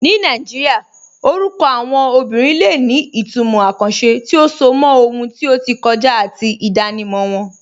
Ní Nàìjíríà, orúkọ àwọn obìnrin lè ní ìtumọ̀ àkànṣe tí ó so mọ́ ohun tí ó ti kọjá àti ìdánimọ̀ wọn.